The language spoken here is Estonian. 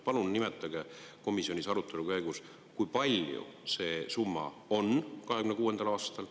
Palun nimetage, komisjonis arutelu käigus, kui palju see summa on 2026. aastal.